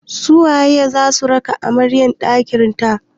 Su waye za su raka amarya ɗakin ta?